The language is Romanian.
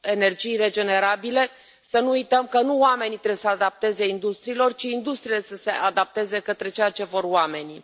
energii regenerabile. Să nu uităm că nu oamenii trebuie să se adapteze industriilor, ci industriile trebuie să se adapteze către ceea ce vor oamenii.